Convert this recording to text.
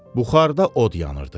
Buxarda od yanırdı.